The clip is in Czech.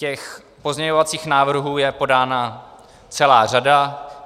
Těch pozměňovacích návrhů je podána celá řada.